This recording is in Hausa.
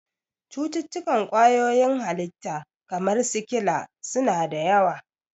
Cututtukan kwayoyin halitta, kamar sikila, su na da yawa.